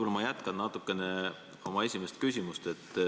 Aga ma jätkan natukene oma esimest küsimust.